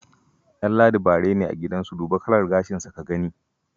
Danladi bare ne a gidansu, duba kalar gashinsa ka gani.